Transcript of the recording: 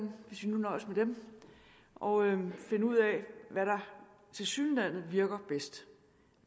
hvis vi nu nøjes med dem og finde ud af hvad der tilsyneladende virker bedst